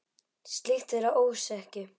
Slíkt er að ósekju.